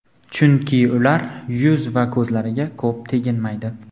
chunki ular yuz va ko‘zlariga ko‘p teginmaydi.